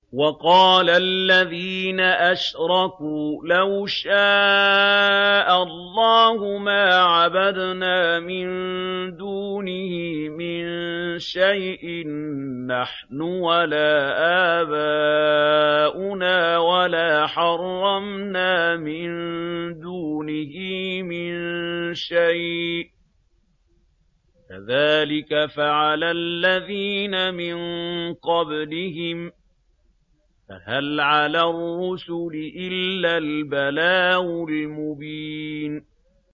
وَقَالَ الَّذِينَ أَشْرَكُوا لَوْ شَاءَ اللَّهُ مَا عَبَدْنَا مِن دُونِهِ مِن شَيْءٍ نَّحْنُ وَلَا آبَاؤُنَا وَلَا حَرَّمْنَا مِن دُونِهِ مِن شَيْءٍ ۚ كَذَٰلِكَ فَعَلَ الَّذِينَ مِن قَبْلِهِمْ ۚ فَهَلْ عَلَى الرُّسُلِ إِلَّا الْبَلَاغُ الْمُبِينُ